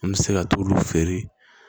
An bɛ se ka t'olu feere